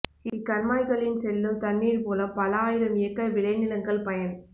இக்கண்மாய் களின் செல்லும் தண்ணீர்மூலம் பல ஆயிரம் ஏக்கர் விளைநிலங்கள் பயன்